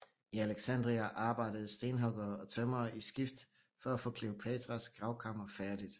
I Alexandria arbejdede stenhuggere og tømrere i skift for at få Kleopatras gravkammer færdigt